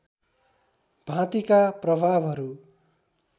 भाँतिका प्रभावहरू